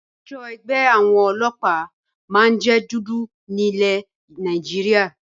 Aṣọ ẹgbẹ́ àwọn ọlọ́pàá máa ń jẹ dúdú ní ilé Nàìjíríà